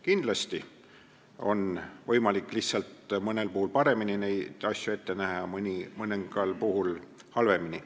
Kindlasti on võimalik mõnel puhul paremini mõjusid ette näha, mõningal puhul halvemini.